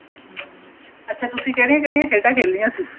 ਹਮ ਅੱਛਾ ਤੁਸੀਂ ਕਿਹੜੀ ਕਿਹੜੀ ਖੇਡਾਂ ਖੇਲਿਆਂ ਸੀ